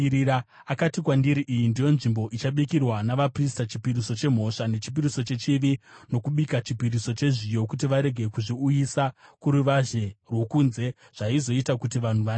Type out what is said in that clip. Akati kwandiri, “Iyi ndiyo nzvimbo ichabikirwa navaprista, chipiriso chemhosva nechipiriso chechivi nokubika chipiriso chezviyo, kuti varege kuzviuyisa kuruvazhe rwokunze zvaizoita kuti vanhu vanatswe.”